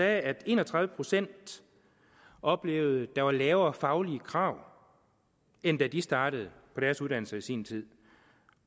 at en og tredive procent oplevede at der var lavere faglige krav end da de startede på deres uddannelser i sin tid